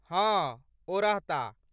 हँ, ओ रहताह।